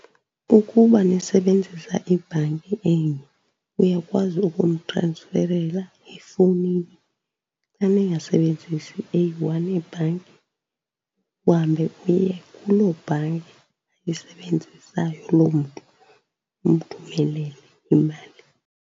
Ukuba nisebenzisa ibhanki enye uyakwazi ukumtransferela efowunini. Xa ningasebenzisi eyi-one ibhanki, uhambe uye kuloo bhanki ayisebenzisayo loo mntu umthumelele imali.